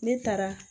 Ne taara